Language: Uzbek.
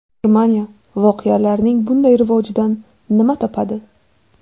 Germaniya voqealarning bunday rivojidan nima topadi?